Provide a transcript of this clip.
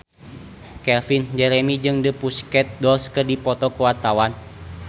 Calvin Jeremy jeung The Pussycat Dolls keur dipoto ku wartawan